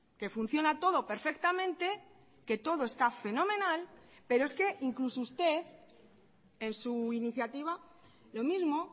que funciona todo perfectamente que todo está fenomenal pero es que incluso usted en su iniciativa lo mismo